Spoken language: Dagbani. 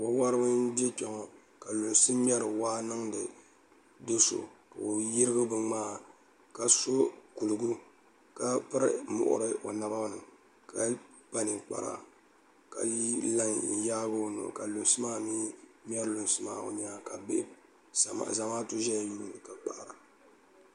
wo woribi n bɛ kpɛ ŋɔ ka lunsi wori waa niŋdi do so ka o yirigi bin ŋmaa ka so kurugu ka piri muɣuri o naba ni ka kpa ninkpara ka la n yaagi o noli ka lunsi maa mii ŋmɛri lunsi maa o nyaanga ka zamaatu ʒɛya yuundi ka kpahara